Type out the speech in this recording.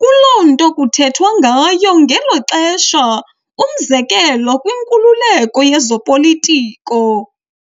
kuloo nto kuthethwa ngayo ngelo xesha umzekelo kwinkululeko yezopolitiko.